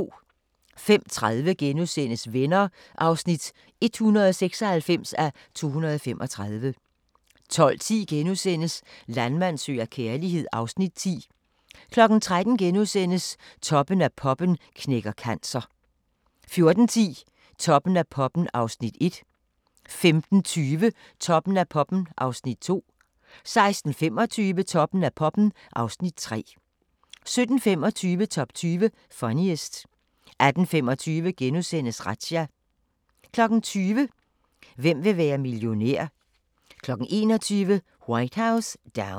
05:30: Venner (196:235)* 12:10: Landmand søger kærlighed (Afs. 10)* 13:00: Toppen af poppen knækker cancer * 14:10: Toppen af poppen (Afs. 1) 15:20: Toppen af poppen (Afs. 2) 16:25: Toppen af poppen (Afs. 3) 17:25: Top 20 Funniest 18:25: Razzia * 20:00: Hvem vil være millionær? 21:00: White House Down